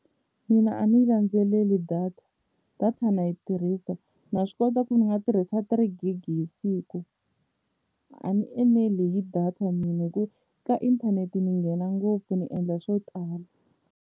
Mina a ndzi yi landzeleli data, data na yi tirhisa na swi kota ku ndzi nga tirhisa three gig hi siku a ni eneli hi data mina hi ku ka inthanete ni nghena ngopfu ni endla swo tala.